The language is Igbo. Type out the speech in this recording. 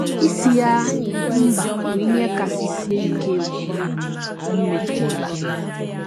Ịsị ya mba bụ ihe kasị sie ike omume m metụrụla. ”